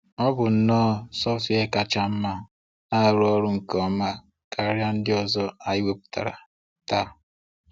Ọ bụ nnọọ software kacha mma na-arụ ọrụ nke ọma karịa ndị ọzọ anyị wepụtara taa.